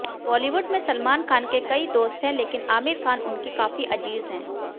बॉलीवुड में सलमान खान के कई दोस्त हैं लेकिन आमिर खान उनके काफी अजीज हैं